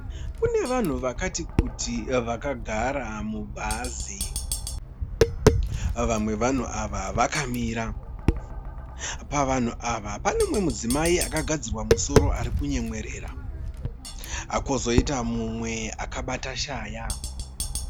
Kune vanhu vakati kuti vakagara mubhazi. Vamwe vevanhu ava vakamira .Pavanhu ava panemudzimai akagadzirwa musoro arikunyemwerera kozoita mumwe akabata rushaya.